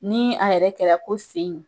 Ni a yɛrɛ kɛra ko sen